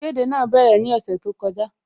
Ìkéde náà bẹ̀rẹ̀ ní ọ̀sẹ̀ tó kọjá